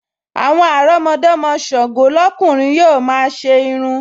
Àwọn àrọ́mọdọ́mọ Ṣàngọ́ lọ́kùnrin yóò máa ṣe irun